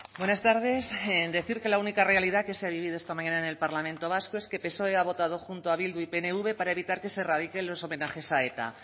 buenas tardes decir que la única realidad que se ha vivido esta mañana en el parlamento vasco es que psoe ha votado junto a bildu y pnv para evitar que se erradiquen los homenajes a eta